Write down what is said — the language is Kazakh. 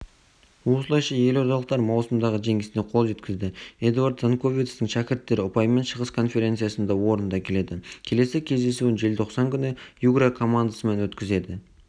осылайша елордалықтар маусымдағы жеңісіне қол жеткізді эдуард занковецтің шәкірттері ұпаймен шығыс конференциясында орында келеді келесі кездесуін желтоқсан күні югра командасымен өткізеді